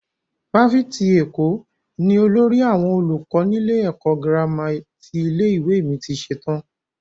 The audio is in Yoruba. Fáfitì Èkó ni olórí àwọn olùkọ́ nílé ẹ̀kọ́ gírámà ti ilé-ìwé mi ti ṣetán.